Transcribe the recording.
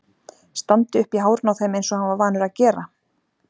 Standi upp í hárinu á þeim eins og hann var vanur að gera!